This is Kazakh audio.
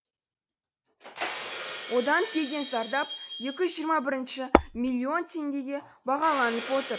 одан келген зардап екі жүз жиырма бірінші миллион теңгеге бағаланып отыр